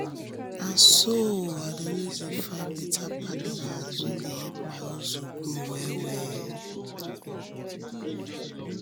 na so i dey always find better partners wey fit help my hustle grow well-well.